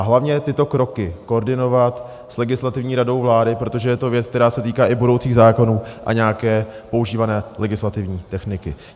A hlavně tyto kroky koordinovat s Legislativní radou vlády, protože je to věc, která se týká i budoucích zákonů a nějaké používané legislativní techniky.